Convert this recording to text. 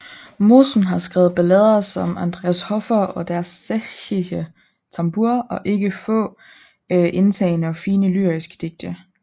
Mosen har skrevet ballader som Andreas Hofer og Der sächsische Tambour og ikke få indtagende og fine lyriske digte